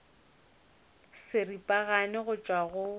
le seripagare go tšwa go